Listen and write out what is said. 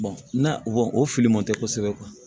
na o fili man te kosɛbɛ